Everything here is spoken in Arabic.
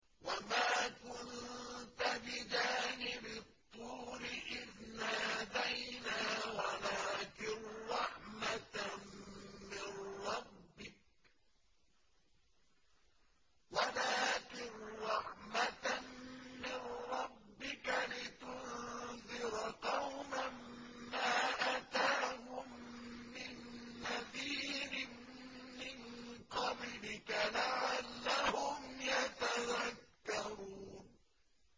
وَمَا كُنتَ بِجَانِبِ الطُّورِ إِذْ نَادَيْنَا وَلَٰكِن رَّحْمَةً مِّن رَّبِّكَ لِتُنذِرَ قَوْمًا مَّا أَتَاهُم مِّن نَّذِيرٍ مِّن قَبْلِكَ لَعَلَّهُمْ يَتَذَكَّرُونَ